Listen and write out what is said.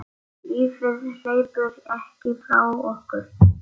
Lífið hleypur ekki frá okkur.